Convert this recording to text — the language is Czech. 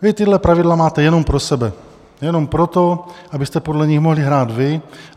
Vy tato pravidla máte jenom pro sebe, jenom proto, abyste podle nich mohli hrát vy.